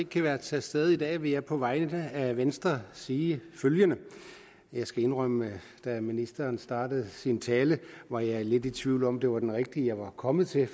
kan være til stede i dag vil jeg på vegne af venstre sige følgende og jeg skal indrømme at da ministeren startede sin tale var jeg lidt i tvivl om om det var den rigtige jeg var kommet til